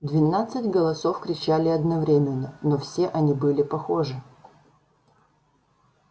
двенадцать голосов кричали одновременно но все они были похожи